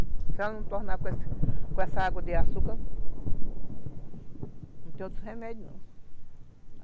Se ela não tornar com com essa água de açúcar, não tem outros remédios, não.